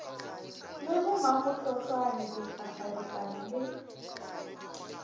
le bo mamohlohlwane dikgakgaripane le